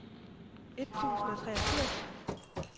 et tusind og treogfirs